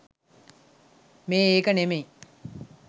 මේ ඒක නෙමෙයි